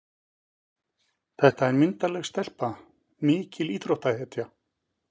Þetta er myndarleg stelpa, mikil íþróttahetja.